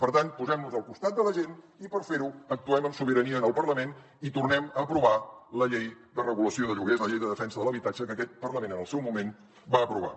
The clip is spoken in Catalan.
per tant posem nos al costat de la gent i per fer ho actuem amb sobirania en el parlament i tornem a aprovar la llei de regulació de lloguers la llei de defensa de l’habitatge que aquest parlament en el seu moment va aprovar